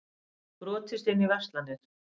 Brotist inn í verslanir